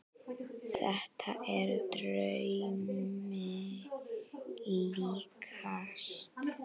Þetta er draumi líkast.